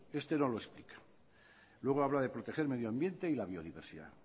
este no lo explica luego habla de proteger el medio ambiente y la biodiversidad